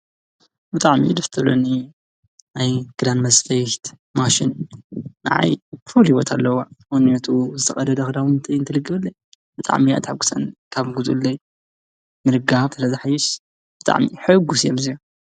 ብጣዕሚ ደስ ትብለኒ ናይ ክዳን መስፈይት ማሽን ንዓይ ፍሉይ ቦታ ኣለዋ፡፡ ምኽንያቱ ዝተቐደደ ክዳውንተይ ትልግበለይ፡፡ ብጣዕሚ እያ ተሕጒሰኒ፡፡ ካብ ግዝኡለይ ምልጋብ ስለዘሕይሽ ብጣዕሚ ሕጉስ እየ፡፡